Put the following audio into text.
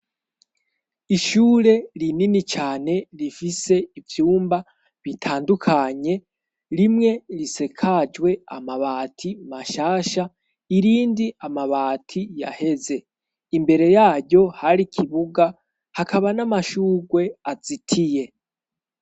ishure rinini cyane rifise ivyumba bitandukanye rimwe risakajwe amabati mashasha irindi amabati yaheze imbere yayo hari kibuga hakaba n'amashugwe azitiye.